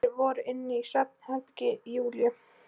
Þær voru inni í svefnherbergi Júlíu.